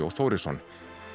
Þórisson